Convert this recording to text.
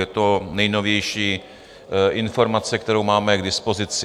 Je to nejnovější informace, kterou máme k dispozici.